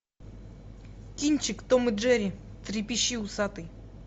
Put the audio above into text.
кинчик том и джерри трепещи усатый